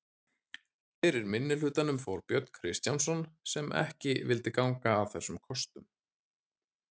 Fyrir minnihlutanum fór Björn Kristjánsson sem ekki vildi ganga að þessum kostum.